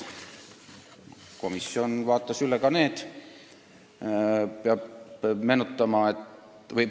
Komisjon vaatas üle ka regulatsioonid.